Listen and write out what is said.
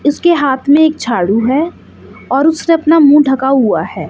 इसके हाथ में एक झाड़ू है और उसने अपना मुंह ढका हुआ है।